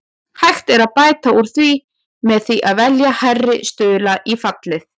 Hægt er að bæta úr því með því að velja hærri stuðla í fallið.